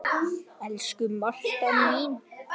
Lít á Bakka bræður þrjá.